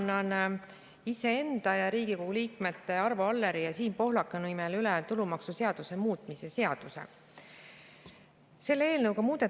Mina annan iseenda ja Riigikogu liikmete Arvo Alleri ja Siim Pohlaku nimel üle tulumaksuseaduse muutmise seaduse.